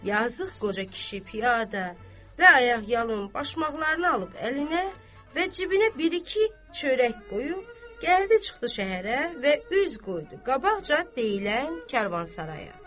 Yazıq qoca kişi piyada, və ayaqyalın başmaqlarını alıb əlinə, və cibinə bir-iki çörək qoyub, gəldi çıxdı şəhərə və üz qoydu qabaqca deyilən Karvansaraya.